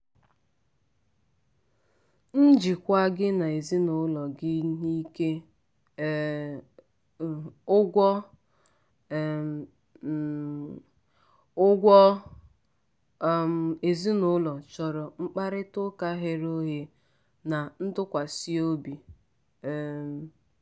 njikwa gị na ndị ezinụlọ gị n'ike um ụgwọ um um ụgwọ um ezinụlọ chọrọ mkparịtaụka ghere oghe na ntụkwasị obi. um